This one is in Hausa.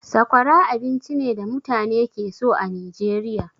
Sakwara abinci ne da mutane ke so a Nijeriya.